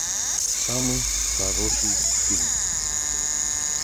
самый хороший фильм